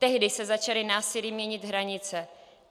Tehdy se začaly násilím měnit hranice.